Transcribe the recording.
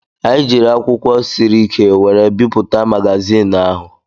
Anyị jiiri akwụkwọ siri ike were bipụta magazin ahụ.